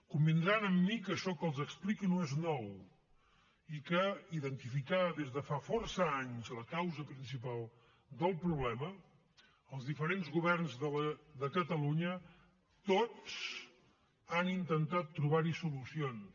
convindran amb mi que això que els explico no és nou i que identificada des de fa força anys la causa principal del problema els diferents governs de catalunya tots han intentat trobar hi solucions